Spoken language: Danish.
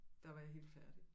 Der var jeg helt færdig